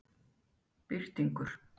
Birtingur